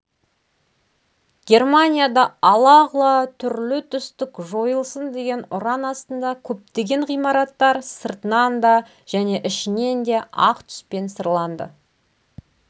германияда ала-құла түрлі түстік жойылсын деген ұран астында көптеген ғимараттар сыртынан да және ішінен де ақ түспен сырланды